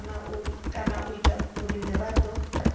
kana u ita uri muraḓo